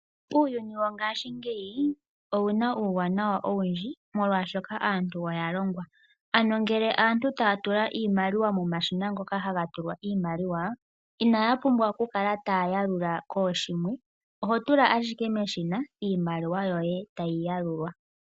Uuyuni wongashingeyi owuna uuwanawa owundji, molwashoka aantu oyalongwa. Ano ngele aantu taya tula iimaliwa momashina ngoka haga tulwa iimaliwa, inaya pumbwa okukala taya yalula kooshimwe, oho tula ashike meshina, iimaliwa yoye e tayi yalulwa.